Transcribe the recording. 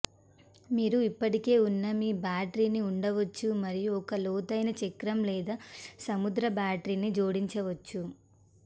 మీరు ఇప్పటికే ఉన్న మీ బ్యాటరీని ఉంచవచ్చు మరియు ఒక లోతైన చక్రం లేదా సముద్ర బ్యాటరీని జోడించవచ్చు